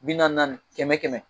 Bi naani naani kɛmɛ kɛmɛ